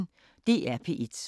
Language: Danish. DR P1